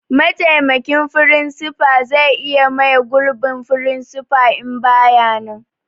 Mataimakin firinsifa zai iya mai gurbin firinsifa in bai nan